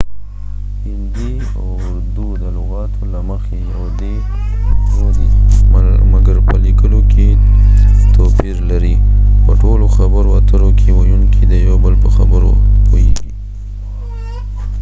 هندي او اردو د لغاتو له مخی یو دي مګر په لیکلو کې توپیر لري :په ټولو خبرو اترو کې ويونکې د یو بل په خبرو پوهیږی